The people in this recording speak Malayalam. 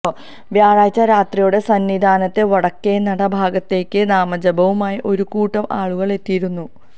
വ്യാഴാഴ്ച രാത്രിയോടെ സന്നിധാനത്തെ വടക്കേനട ഭാഗത്തേക്ക് നാമജപവുമായി ഒരുകൂട്ടം ആളുകള് എത്തിയിരുന്നു